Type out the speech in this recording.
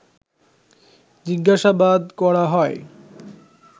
জিজ্ঞাসাবাদ করা হয়